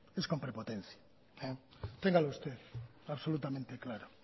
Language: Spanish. es con prepotencia téngalo absolutamente claro